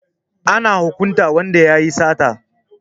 Ana hukunta wanda ya yi sata.